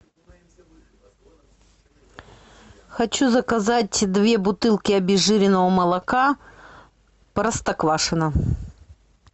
хочу заказать две бутылки обезжиренного молока простоквашино